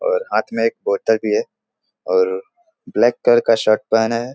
और हाथ में एक बोतल भी है और ब्लैक कलर का शर्ट पहने है।